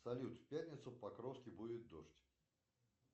салют в пятницу в покровске будет дождь